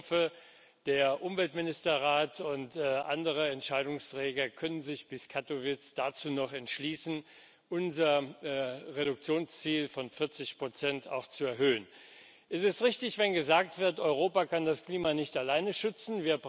Ich hoffe, der Umweltministerrat und andere Entscheidungsträger können sich bis Kattowitz dazu noch entschließen, unser Reduktionsziel von 40 auch zu erhöhen. Es ist richtig, wenn gesagt wird, Europa kann das Klima nicht alleine schützen